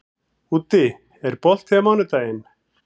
Úddi, er bolti á mánudaginn?